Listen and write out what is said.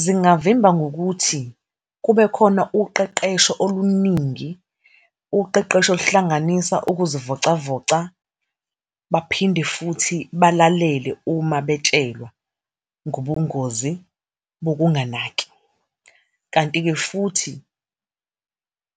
Zingavimba ngokuthi kube khona uqeqesho oluningi, uqeqesho oluhlanganisa ukuzivocavoca. Baphinde futhi balalele uma betshelwa ngobungozi bokunganaki. Kanti-ke futhi